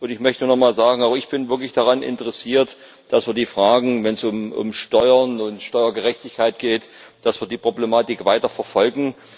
Ich möchte nochmal sagen, auch ich bin wirklich daran interessiert, dass wir, wenn es um Steuern und Steuergerechtigkeit geht, die Problematik weiterverfolgen.